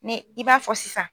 Ni i b'a fɔ sisan